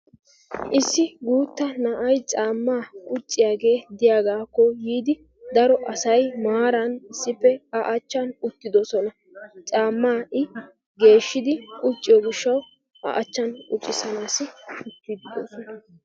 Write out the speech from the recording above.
Issi gutta na'aay caama qucciyage diyagako biidi daro asay nmaaran issippe a achchan uttidosona. Caama i geeshshidi qucciyo gishshawu a achchan quccisanasi naagidi deosona.